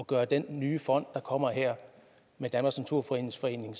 gøre den nye fond der kommer her med danmarks naturfredningsforening